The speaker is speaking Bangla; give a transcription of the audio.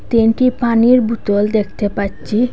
তিনটি পানির বুতল দেখতে পাচ্চি ।